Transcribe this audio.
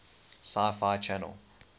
sci fi channel